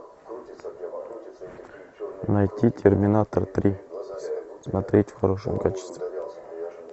найти терминатор три смотреть в хорошем качестве